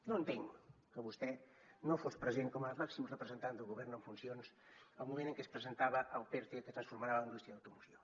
no entenc que vostè no fos present com a màxim representant del govern en funcions al moment en què es presentava el perte que transformarà la indústria de l’automoció